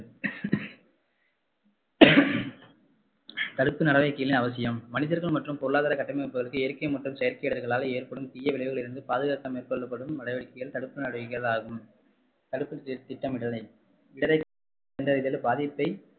தடுப்பு நடவடிக்கைகளின் அவசியம் மனிதர்கள் மற்றும் பொருளாதார கட்டமைப்புகளுக்கு இயற்கை மற்றும் செயற்கை இடர்களால் ஏற்படும் தீய விளைவுகளிலிருந்து பாதுகாக்க மேற்கொள்ளப்படும் நடவடிக்கைகள் தடுப்பு நடவடிக்கைகள் ஆகும் தடுப்பு திட்டமிடுதலின் பாதிப்பை